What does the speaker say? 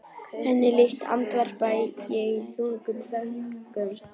Henni líkt, andvarpa ég í þungum þönkum.